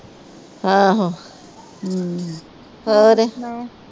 ਆਹੋ